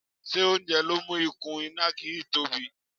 Ṣé oúnjẹ ló mú ikùn ìnàkí yìí tobí?